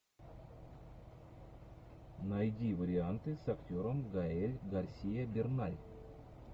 найди варианты с актером гаэль гарсиа берналь